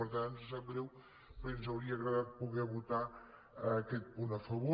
per tant ens sap greu perquè ens hauria agradat poder votar aquest punt a favor